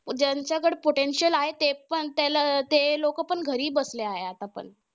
ज्यांच्याकडे potential आहे, ते पण त्याला अं ते लोक पण घरी बसले आहे आतापण.